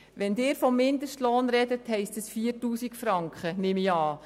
Wenn Sie vom Mindestlohn sprechen, heisst das 4000 Franken, wie ich annehme.